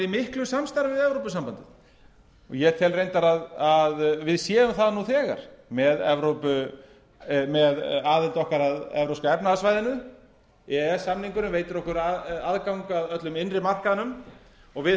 miklu samstarfi við evrópusambandið og ég tel reyndar að við séum það nú þegar með aðild okkar að evrópska efnahagssvæðinu e e s samningurinn veitir okkur aðgang að öllum innri markaðnum og við